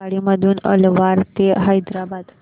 आगगाडी मधून अलवार ते हैदराबाद